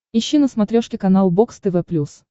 ищи на смотрешке канал бокс тв плюс